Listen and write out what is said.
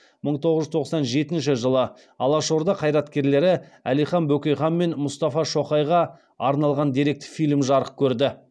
мың тоғыз жүз тоқсан жетінші жылы алашорда қайраткерлері әлихан бөкейхан мен мұстафа шоқайға арналған деректі фильм жарық көрді